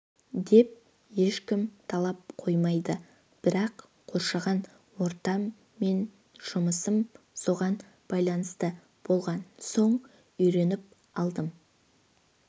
деп ешкім талап қоймайды бірақ қоршаған ортам мен жұмысым соған байланысты болған соң үйреніп алдым